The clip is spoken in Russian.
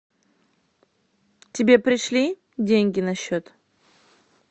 тебе пришли деньги на счет